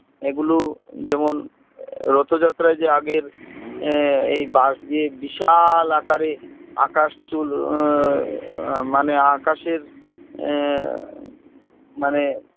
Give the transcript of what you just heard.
এগুলো যেমন রথ যাত্রায় যে আগের আহ এই বাঁশ দিয়ে বিশাল আকারে আকাশ চুল আহ আহ মানে আকাশের আহ মানে